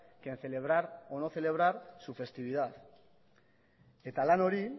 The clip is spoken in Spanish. que en celebrar o no celebrar su festividad eta lan hori